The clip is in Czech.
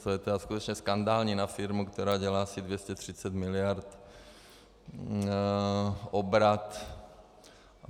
To je tedy skutečně skandální na firmu, která dělá asi 230 miliard obrat.